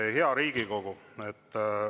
Hea Riigikogu!